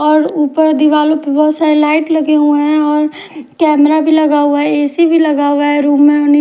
और उपर दिवालो पे बोहोत सारी लाइट लगे हुए है और कैमरा भी लगा हुआ है ए_सी भी लगा हुआ है रूम ने और नी --